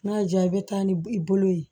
N'a y'i diya i bɛ taa ni i bolo ye